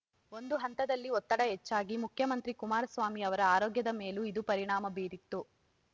ಒಂದು ಹಂತದಲ್ಲಿ ಒತ್ತಡ ಹೆಚ್ಚಾಗಿ ಮುಖ್ಯಮಂತ್ರಿ ಕುಮಾರಸ್ವಾಮಿ ಅವರ ಆರೋಗ್ಯದ ಮೇಲೂ ಇದು ಪರಿಣಾಮ ಬೀರಿತ್ತು